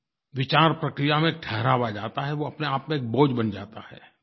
विचार प्रक्रिया में ठहराव आ जाता है वो अपनेआप में एक बोझ बन जाता है